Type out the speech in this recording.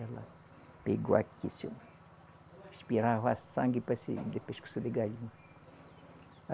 Ela pegou aqui, assim, expirava sangue parecia de pescoço de galinha.